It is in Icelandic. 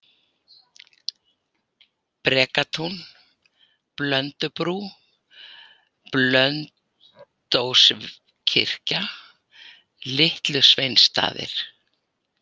Brekatún, Blöndubrú, Blönduóskirkja, Litlu Sveinsstaðir